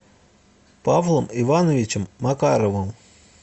павлом ивановичем макаровым